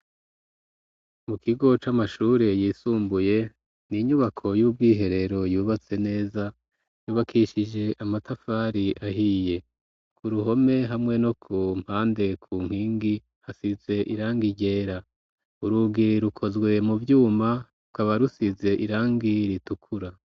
Mu kigo c'amashure yisumbuye ni inyubako y'ubwo iherero yubatse neza yubakishije amatafari ahiye ku ruhome hamwe no ku mpande ku nkingi hasize irangi ryera urugii rukozwe mu vyuma uko abarusize irangi ritukura.